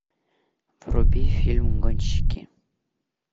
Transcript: вруби фильм гонщики